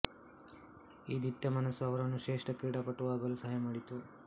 ಈ ದಿಟ್ಟ ಮನಸ್ಸು ಅವರನ್ನು ಶ್ರೇಷ್ಠ ಕ್ರೀಡಾಪಟುವಾಗಲು ಸಹಾಯ ಮಾಡಿತು